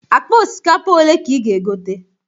Akpa osikapa ole ka ị ga-egote?